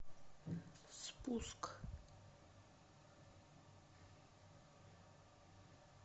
спуск